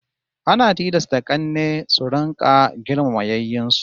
Ana tilasta k'anne su rika girmama yayyen su